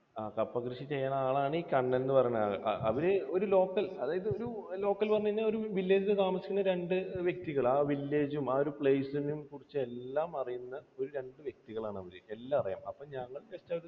ആ കപ്പ കൃഷി ചെയ്യുന്ന ആളാണ് ഈ കണ്ണൻ എന്ന് പറയുന്ന ആൾ. അവരെ ഒരു local അതായത് ഒരു local എന്ന് പറഞ്ഞു കഴിഞ്ഞാൽ ഒരു village ൽ താമസിക്കുന്ന രണ്ട് വ്യക്തികൾ ആ village ഉം ആ ഒരു ചുമ്മാ ഒരു place നെയും കുറിച്ച് എല്ലാമറിയുന്ന ഒരു രണ്ടു വ്യക്തികളാണ് അവർ. എല്ലാം അറിയാം. അപ്പോൾ ഞങ്ങൾ